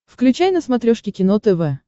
включай на смотрешке кино тв